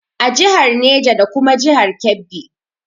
A jihar Neja da kuma jihar Kebbi